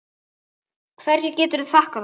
Hverju geturðu þakkað það?